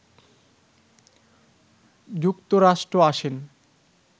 যুক্তরাষ্ট্র আসেন